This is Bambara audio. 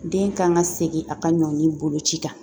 Den kan ka segin a ka ɲɔnni bolo ci kan